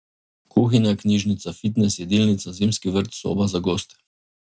Kuhinja, knjižnica, fitnes, jedilnica, zimski vrt, soba za goste.